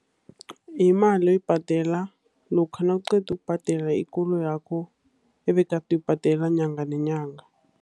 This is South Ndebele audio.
Yimali oyibhadela lokha nawuqeda ukubhadela ikoloyakho, ebegade uyibhadela nyanga nenyanga.